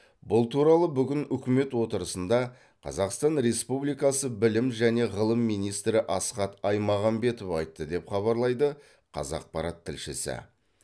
бұл туралы бүгін үкімет отырысында қазақстан республикасы білім және ғылым министрі асхат аймағамбетов айтты деп хабарлайды қазақпарат тілшісі